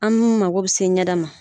An mago bi se ɲɛda ma